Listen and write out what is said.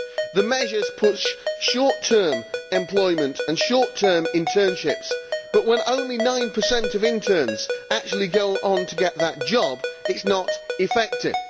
The measures push short term employment and short term internships but, when only 9 of interns actually go on to get the job, this is not effective.